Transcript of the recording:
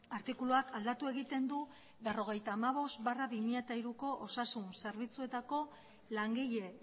artikuluak aldatu egiten du berrogeita hamabost barra bi mila hiruko osasun zerbitzuetako langile